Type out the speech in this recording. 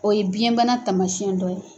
O ye biyɛnbana tamasiyɛn dɔ ye.